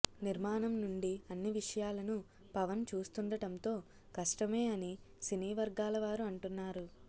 నిర్మాణం నుండి అన్ని విషయాలను పవన్ చూస్తుండటంతో కష్టమే అని సినీ వర్గాల వారు అంటున్నారు